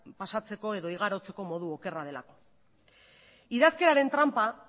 pasatzeko edo igarotzeko modu okerra delako idazkeraren tranpa